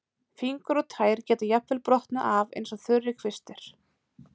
Fingur og tær geta jafnvel brotnað af eins og þurrir kvistir.